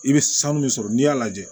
I bɛ sanu min sɔrɔ n'i y'a lajɛ